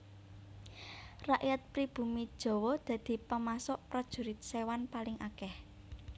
Rakyat pribumi Jawa dadi pemasok Prajurit Séwan paling akèh